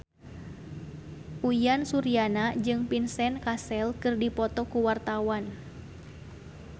Uyan Suryana jeung Vincent Cassel keur dipoto ku wartawan